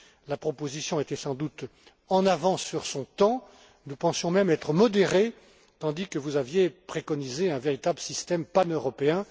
La proposition était sans doute en avance sur son temps, nous pensions même être modérés tandis que vous aviez préconisé un véritable système paneuropéen.